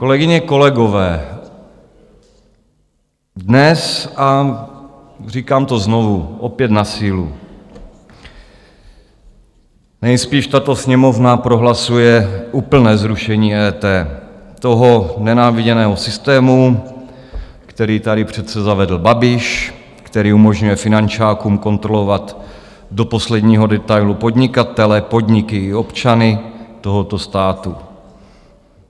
Kolegyně, kolegové, dnes, a říkám to znovu, opět na sílu, nejspíš tato Sněmovna prohlasuje úplné zrušení EET, toho nenáviděného systému, který tady přece zavedl Babiš, který umožňuje finančákům kontrolovat do posledního detailu podnikatele, podniky i občany tohoto státu.